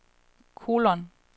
kolon